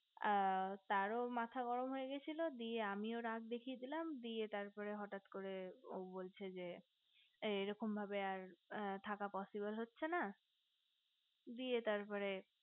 আ তারও মাথা গরম হয়ে গিয়েছিলো দিয়ে আমিও রাগ দেখিয়ে দিলাম দিয়ে তার পর হঠাৎ করে ও বলছে যে এরকম ভাবে আর থাকা possible হচ্ছে না দিয়ে তারপরে